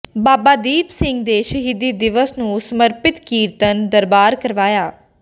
ਬਾਬਾ ਦੀਪ ਸਿੰਘ ਦੇ ਸ਼ਹੀਦੀ ਦਿਵਸ ਨੂੰ ਸਮਰਪਿਤ ਕੀਰਤਨ ਦਰਬਾਰ ਕਰਵਾਇਆ